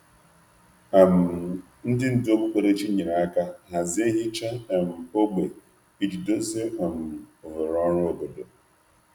um Ndị um ndú okpukperechi nyere aka hazie nhicha ógbè iji dozie oghere ọrụ obodo. um